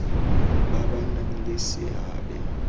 ba ba nang le seabe